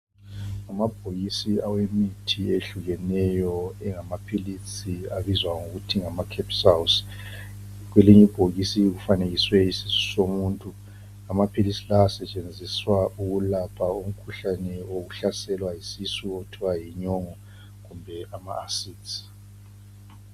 Kumabhokisi awemithi eyehlukeneyo engamaphilisi abizwa ngokuthi ngama capsules, kwelinye ibhokisi kufanekiswe isisu somuntu amaphilizi lawa asetsenziswa ukulapha umkhuhlane wesisu okuthiwa yinyongo kumbe ama acids.